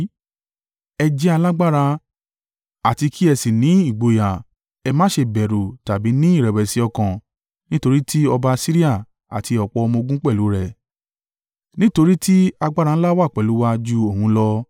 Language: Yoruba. “Ẹ jẹ́ alágbára, àti kí ẹ sì ní ìgboyà. Ẹ má ṣe bẹ̀rù tàbí ní ìrẹ̀wẹ̀sì ọkàn nítorí tí ọba Asiria àti ọ̀pọ̀ ọmọ-ogun pẹ̀lú rẹ̀, nítorí tí agbára ńlá wà pẹ̀lú wa ju òun lọ.